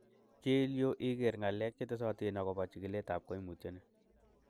Chil yu iker ng'alek chetesotin agobo chikiletab koimutioni.